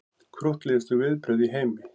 Krúttlegustu viðbrögð í heimi